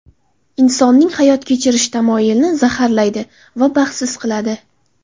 Insonning hayot kechirish tamoyilini zaharlaydi va baxtsiz qiladi.